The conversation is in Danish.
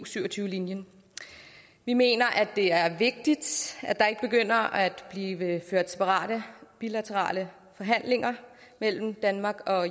syv og tyve linjen vi mener at det er vigtigt at der ikke begynder at blive ført separate bilaterale forhandlinger mellem danmark og